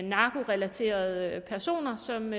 narkorelaterede personer som